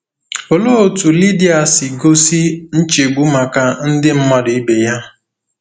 Olee otú Lidia si gosi nchegbu maka ndị mmadụ ibe ya?